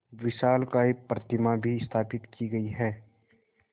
विशालकाय प्रतिमा भी स्थापित की गई है